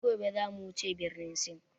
Sai gobe zamu wuce birnin Sin